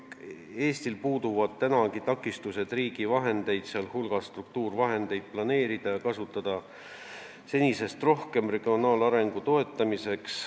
Selles on öeldud, et Eestil puuduvad praegugi takistused kasutada riigi vahendeid, sh struktuurivahendeid senisest rohkem regionaalarengu toetamiseks.